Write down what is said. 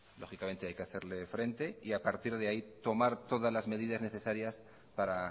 lógicamente hay que hacerle frente y a partir de ahí tomar todas las medidas necesarias para